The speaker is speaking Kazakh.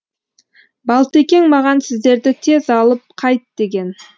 балтекең маған сіздерді тез алып қайт деген